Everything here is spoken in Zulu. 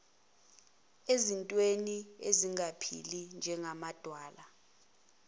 ezintweni ezingaphili njengamadwala